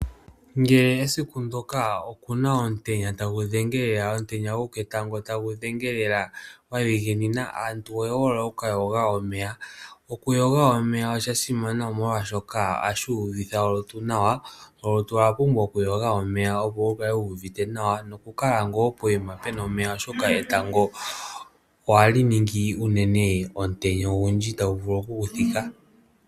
Ngele esiku ndoka okuna omutenya tagu dhengele lela, omutenya goketango tagu dhenge lela gwa dhiginina aantu oye hole okuka yoga omeya, oku yoga omeya osha simana omolwashoka ohashi uvitha olutu nawa. Olutu olwa pumbwa oku yoga omeya opo wu kale wuuvite nawa noku kala ngoo poima pena omeya oshoka etango ohali ningi unene omutenya ogundji tagu vulu okuku fika.